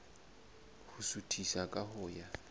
ho suthisa ka ho ya